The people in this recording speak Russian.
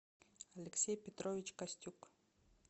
алексей петрович костюк